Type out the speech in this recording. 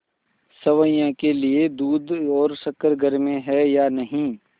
सेवैयों के लिए दूध और शक्कर घर में है या नहीं